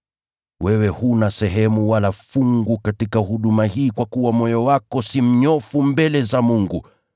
Wewe huna sehemu wala fungu katika huduma hii kwa kuwa moyo wako si mnyofu mbele za Mungu.